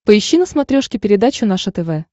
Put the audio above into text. поищи на смотрешке передачу наше тв